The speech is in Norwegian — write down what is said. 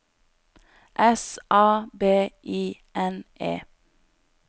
S A B I N E